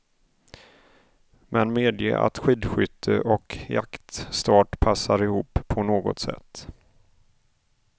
Men medge att skidskytte och jaktstart passar ihop på något sätt.